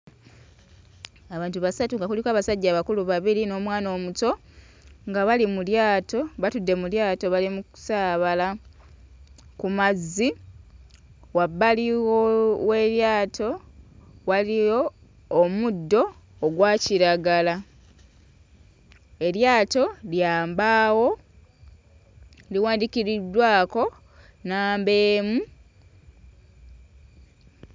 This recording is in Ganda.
Abantu basatu nga kuliko abasajja abakulu babiri n'omwana omuto nga bali mu lyato batudde mu lyato bali mu kusaabala ku mazzi. Wabbali w'eryato waliyo omuddo ogwa kiragala. Eryato lya mbaawo, liwandiikiddwako nnamba emu.